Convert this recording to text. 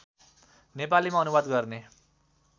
नेपालीमा अनुवाद गर्ने